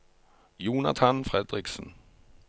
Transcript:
Jonathan Fredriksen